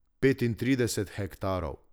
Petintrideset hektarov.